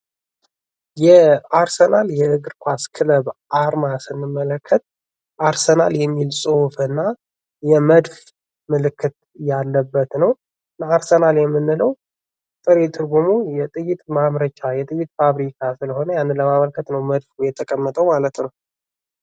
የአርሰናል እግር ኳስ አርማ ስንመለከት አርሰናል የሚል ፅሁፍና የመድፍ ምልክት ያለበት ነው ።አርሰናል የምንለው ጥሬ ትርጉሙ የጥይት ማምረቻ የጥይት ፋብሪካ ማለት ስለሆነ ያንን ለማመልከት ነው ማለት ነው ።